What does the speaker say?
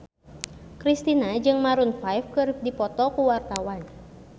Kristina jeung Maroon 5 keur dipoto ku wartawan